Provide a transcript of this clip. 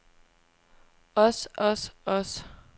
os os os